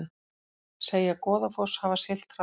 Segja Goðafoss hafa siglt hratt